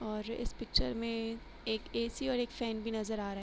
और इस पिक्चर में एक ए.सी और एक फैन भी नजर आ रहा है।